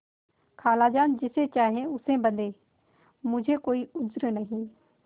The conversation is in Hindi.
खालाजान जिसे चाहें उसे बदें मुझे कोई उज्र नहीं